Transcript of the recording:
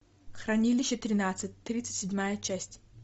хранилище тринадцать тридцать седьмая часть